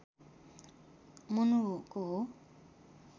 मनुको हो